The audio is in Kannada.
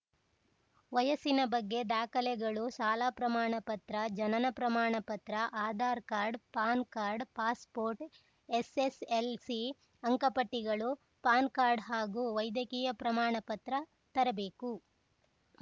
ವಯಸ್ಸಿನ ಬಗ್ಗೆ ದಾಖಲೆಗಳು ಶಾಲಾ ಪ್ರಮಾಣ ಪತ್ರ ಜನನ ಪ್ರಮಾಣ ಪತ್ರಆಧಾರ್ ಕಾರ್ಡ್‌ ಪಾನ್‌ ಕಾರ್ಡುಪಾಸ್‌ ಪೋರ್ಟ್‌ಎಸ್‌ಎಸ್‌ಎಲ್‌ಸಿ ಅಂಕಪಟ್ಟಿಗಳು ಪಾನ್‌ ಕಾರ್ಡು ಹಾಗೂ ವೈದ್ಯಕೀಯ ಪ್ರಮಾಣ ಪತ್ರ ತರಬೇಕು